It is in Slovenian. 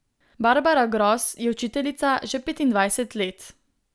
Barbara Gros je učiteljica že petindvajset let.